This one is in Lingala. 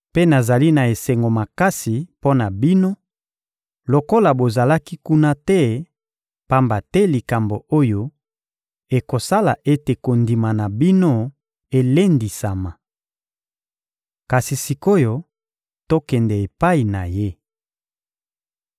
Mpe nazali na esengo makasi mpo na bino lokola bozalaki kuna te, pamba te likambo oyo ekosala ete kondima na bino elendisama. Kasi sik’oyo tokende epai na ye.